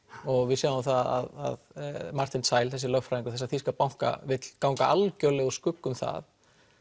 og við sjáum það að Martin Zeil þessi löfgræðingur þessa þýska banka vill ganga algjörlega úr skugga um það